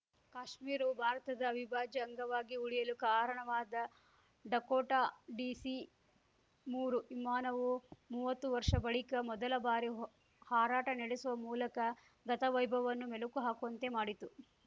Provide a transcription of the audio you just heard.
ಕಾಶ್ಮೀರವು ಭಾರತದ ಅವಿಭಾಜ್ಯ ಅಂಗವಾಗಿ ಉಳಿಯಲು ಕಾರಣವಾದ ಡಕೋಟಾ ಡಿಸಿಮೂರು ವಿಮಾನವು ಮುವತ್ತು ವರ್ಷ ಬಳಿಕ ಮೊದಲ ಬಾರಿ ಹಾರಾಟ ನಡೆಸುವ ಮೂಲಕ ಗತವೈಭವವನ್ನು ಮೆಲುಕು ಹಾಕುವಂತೆ ಮಾಡಿತು